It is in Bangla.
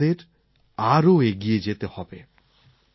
কিন্তু আমাদের আরও এগিয়ে যেতে হবে